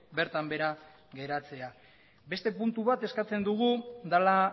bertan behera geratzea beste puntu bat eskatzen dugu dela